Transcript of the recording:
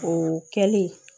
O kɛli